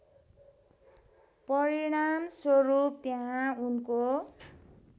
परिणामस्वरूप त्यहाँ उनको